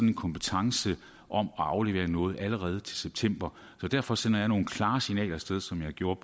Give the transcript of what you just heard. en kompetence om at aflevere noget allerede til september og derfor sender jeg nogle klare signaler af sted som jeg gjorde